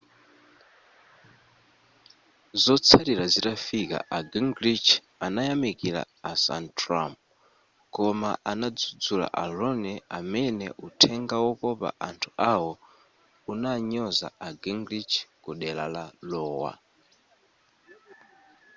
zotsatira zitafika a gingrich anayamikila a santorum koma anadzudzula a romney amene uthenga wokopa anthu awo unanyoza a gingrich ku dera la iowa